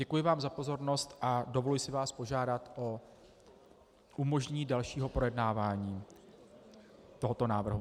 Děkuji vám za pozornost a dovoluji si vás požádat o umožnění dalšího projednávání tohoto návrhu.